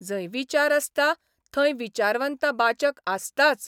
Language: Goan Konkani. जंय विचार आसता थंय विचारवंत बाचक आसताच.